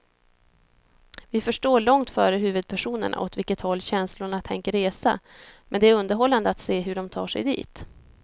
Vi förstår långt före huvudpersonerna åt vilket håll känslorna tänker resa, men det är underhållande att se hur de tar sig dit.